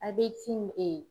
A be cimi e